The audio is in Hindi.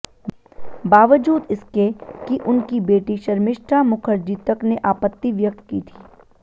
बावजूद इसके कि उनकी बेटी शर्मिष्ठा मुखर्जी तक ने आपत्ति व्यक्त की थी